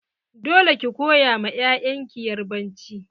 Dole ki koya ma 'ya'yan ki yarbanci!